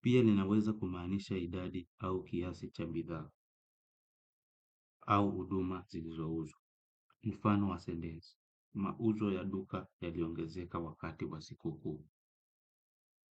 Pia ninaweza kumaanisha idadi au kiasi cha bidhaa au uduma zilizo uza. Mfano wa sentesi. Mauzo ya duka yaliongezeka wakati wa siku kukuu.